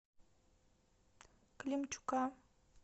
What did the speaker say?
климчука